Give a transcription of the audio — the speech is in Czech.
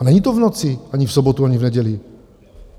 A není to v noci, ani v sobotu ani v neděli.